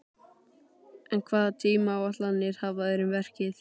En hvaða tímaáætlanir hafa þeir um verkið?